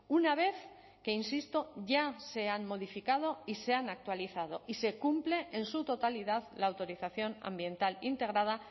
una vez que insisto ya se han modificado y se han actualizado y se cumple en su totalidad la autorización ambiental integrada